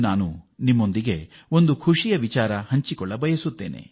ನಾನು ಇಂದು ನಿಮ್ಮೊಂದಿಗೆ ಒಂದು ಸಂತೋಷದ ಸುದ್ದಿಯನ್ನು ಹಂಚಿಕೊಳ್ಳ ಬಯಸುತ್ತೇನೆ